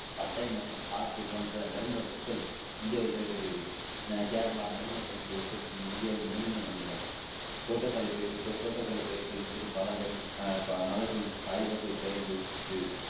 பட்டை மற்றும் பாக்கு போன்ற நறுமணப் பொருட்கள் இந்தியாவில் பயிரிடப்படுகிறது கேரளா நறுமணப் பொருட்களை உற்பத்தி செய்யும் இந்தியாவின் முதன்மையான மாநிலமாகும் தோட்டக்கலை பயிர்கள் தோட்டக்கலை பயிர்கள் என்பது பழங்கள் அஹ் மலர்கள் காய்வகை பயிர்களுக்கு இருக்கு